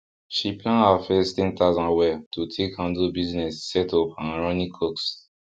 she plan her first ten thousand well to take handle business setup and running coxs